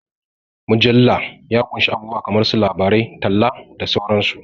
Mujalla ya ƙunshi abubuwa kamar su labarai, talla, da sauran su.